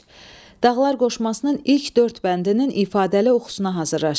Dağlar qoşmasının ilk dörd bəndinin ifadəli oxusuna hazırlaşın.